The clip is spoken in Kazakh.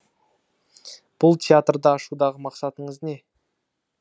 бұл театрды ашудағы мақсатыңыз не